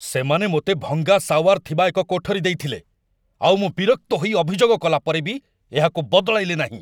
ସେମାନେ ମୋତେ ଭଙ୍ଗା ଶାୱାର ଥିବା ଏକ କୋଠରୀ ଦେଇଥିଲେ, ଆଉ ମୁଁ ବିରକ୍ତ ହୋଇ ଅଭିଯୋଗ କଲାପରେ ବି ଏହାକୁ ବଦଳାଇଲେ ନାହିଁ।